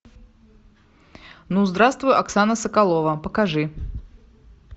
ну здравствуй оксана соколова покажи